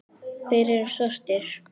Þeir eru svartir.